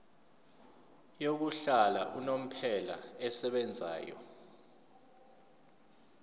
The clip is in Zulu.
yokuhlala unomphela esebenzayo